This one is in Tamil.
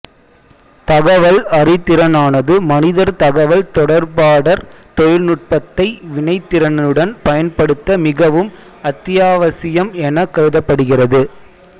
தகவல் அறிதிறனானது மனிதர் தகவல் தொடர்பாடற் தொழினுட்பத்தை வினைத்திறனுடன் பயன்படுத்த மிகவும் அத்தியாவசியம் எனக் கருதப்படுகிறது